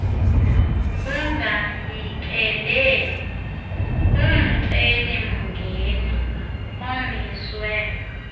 bungafikeleli kumceli mngeniomiswe